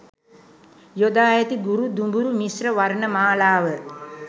යොදා ඇති ගුරු, දුඹුරු මිශ්‍ර වර්ණ මාලාව